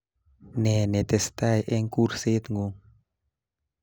Nee netestai eng kurset ngu